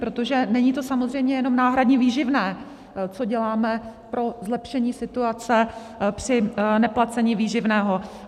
Protože není to samozřejmě jenom náhradní výživné, co děláme pro zlepšení situace při neplacení výživného.